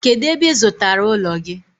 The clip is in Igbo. Kedu ebe ị zụtara ụlọ gị?